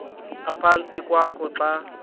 ephantsi kwakho xa